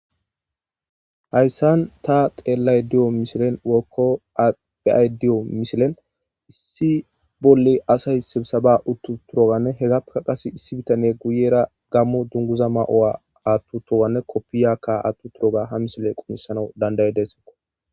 Hayssan ta xeellay diyo mishilen wokko adhi7ay diyo mishilen issi bolle asay sebisaba uttu turoganne hegappeka qase issi bitane guyera gammo dunguza ma7oa attu towanne koppiyakka attu turoga ha mishile qunisana dandayedessekko.